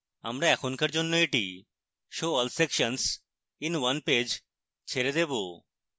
আমরা এখনকার জন্য এটি show all sections in one page ছেড়ে দেবো